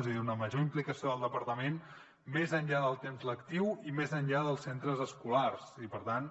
és a dir una major implicació del departament més enllà del temps lectiu i més enllà dels centres escolars i per tant